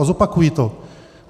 A zopakuji to.